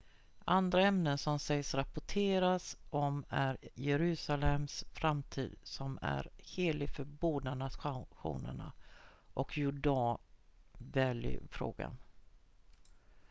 andra ämnen som sägs rapporteras om är jerusalems framtid som är helig för båda nationerna och jordan valley-frågan